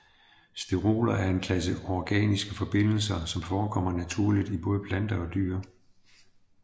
Steroler er en klasse organiske forbindelser som forekommer naturligt i både planter og dyr